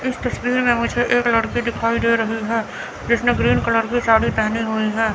इस तस्वीर में मुझे एक लड़की दिखाई दे रही है जिसने ग्रीन कलर की साड़ी पहनी हुई है।